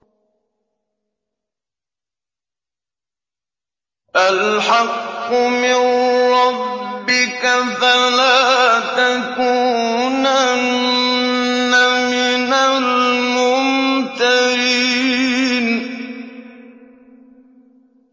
الْحَقُّ مِن رَّبِّكَ ۖ فَلَا تَكُونَنَّ مِنَ الْمُمْتَرِينَ